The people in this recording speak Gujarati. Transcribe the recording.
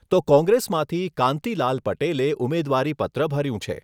તો કોંગ્રેસમાંથી કાંતિલાલ પટેલે ઉમેદવારીપત્ર ભર્યું છે.